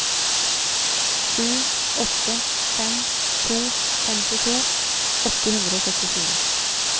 sju åtte fem to femtito åtte hundre og syttifire